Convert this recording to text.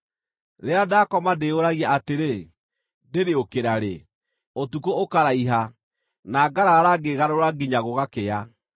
Rĩrĩa ndakoma ndĩyũragia atĩrĩ, ‘Ndĩrĩũkĩra rĩ?’ Ũtukũ ũkaraiha, na ngaraara ngĩĩgarũra nginya gũgakĩa.